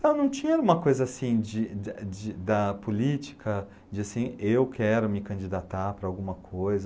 Então não tinha uma coisa assim de de da política, de assim, eu quero me candidatar para alguma coisa.